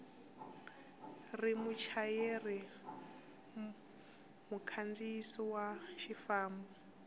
ri muchayeri mukhandziyi wa xifambo